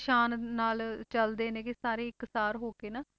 ਸ਼ਾਨ ਨਾਲ ਚੱਲਦੇ ਨੇਗੇ ਸਾਰੇ ਇੱਕ ਸਾਰ ਹੋ ਕੇ ਨਾ।